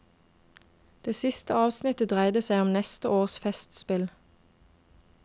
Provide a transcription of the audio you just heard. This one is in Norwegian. Det siste avsnittet dreide seg om neste års festspill.